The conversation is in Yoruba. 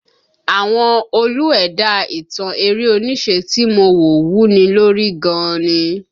Àwọn Olú ẹ̀dá ìtàn eré onísẹ́ tí mo wò wuni lórí gan ni